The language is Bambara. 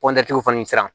fana sera